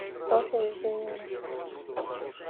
софья евгеньевна